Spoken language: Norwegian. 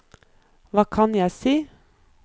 hva kan jeg si